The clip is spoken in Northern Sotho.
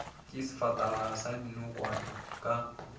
ke sefatanaga sa dinokwane ka